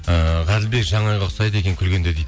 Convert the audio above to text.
ііі ғаділбек жанайға ұқсайды екен күлгенде дейді